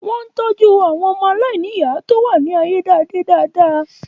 Wọ́n ń tọ́jú àwọn ọmọ aláìníyàá tó wà ní ayédáadé dáadáa